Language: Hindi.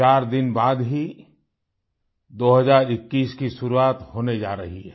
चार दिन बाद ही 2021 की शुरुआत होने जा रही है